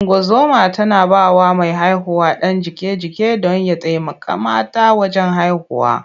Ungozoma tana ba wa mai haihuwa ɗan jiƙe-jiƙe don ya taimaka mata wajen haihuwa.